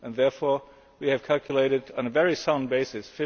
Therefore, we have calculated on a very sound basis